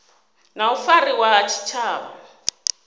na u fariwa ha tshitshavha